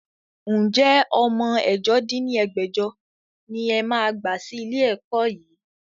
Ǹjẹ́ ọmọ ẹ̀jọ dín ní ẹgbẹ́jọ ni ẹ máa gbà sí ilé ẹ̀kọ́ yìí?